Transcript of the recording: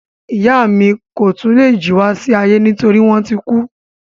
Ìyá mi ko tun lè jí wá sí ayé nitori wọn ti kú.